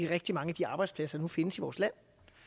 rigtig mange af de arbejdspladser der findes i vores land